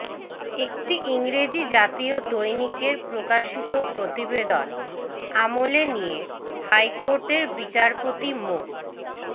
একটি ইংরেজি জাতীয় দৈনিকের প্রকাশিত প্রতিবেদন আমলে নিয়ে হাইকোর্টের বিচারপতি মো